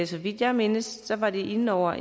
så vidt jeg mindes var de inde over